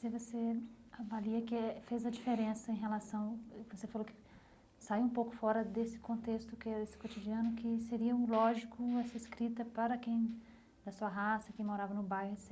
Quer dizer, você avalia que eh fez a diferença em relação... que você falou que sai um pouco fora desse contexto, que esse cotidiano, que seria um lógico essa escrita para quem da sua raça, quem morava no bairro, et